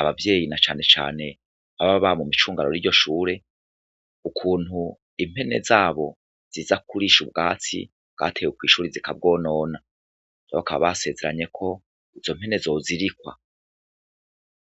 abavyeyi na canecane ababa mw'icungano riryo shure ukuntu impene zabo ziza kurisha ubwatsi bwatewe kw'ishuri zika bwonona bakaba basezeranye ko izo mpene zozirikwa.